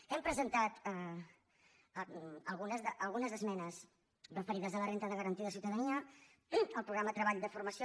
hem presentat algunes esmenes referides a la renda de garantia de ciutadania al programa treball de formació